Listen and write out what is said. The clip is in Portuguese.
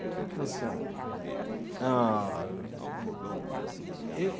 O que que você acha? Ah.